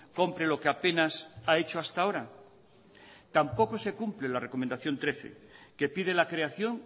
compre lo que apenas ha hecho hasta ahora tampoco se cumplen las recomendación trece que pide la creación